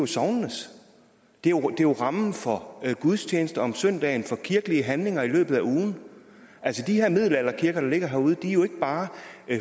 sognenes det er rammen for gudstjenester om søndagen og for kirkelige handlinger i løbet af ugen de her middelalderkirker der ligger herude er jo ikke bare